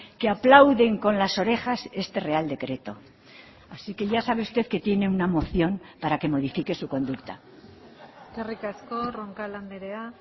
que aplauden con las orejas este real decreto así que ya sabe usted que tiene una moción para que modifique su conducta eskerrik asko roncal andrea